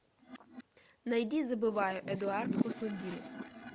найди забываю эдуард хуснутдинов